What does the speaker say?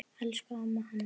Elsku amma Hanna.